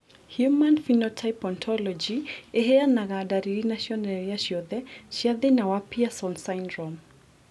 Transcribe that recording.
Human Phenotype Ontology ĩheanaga ndariri na cionereria ciothe cia thĩna wa Pierson syndrome.